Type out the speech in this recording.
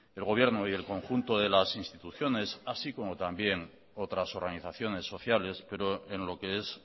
el gobierno y el conjunto de las instituciones así como también otras organizaciones sociales pero en lo que es